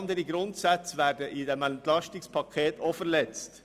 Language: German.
Es werden mit diesem EP auch viele andere Grundsätze verletzt.